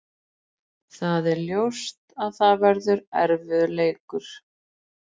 Það er ljóst að það verður erfiður leikur.